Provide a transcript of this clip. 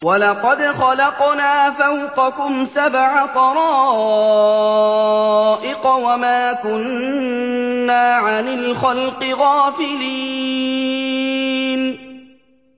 وَلَقَدْ خَلَقْنَا فَوْقَكُمْ سَبْعَ طَرَائِقَ وَمَا كُنَّا عَنِ الْخَلْقِ غَافِلِينَ